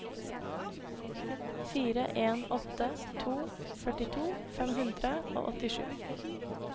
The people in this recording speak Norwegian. fire en åtte to førtito fem hundre og åttisju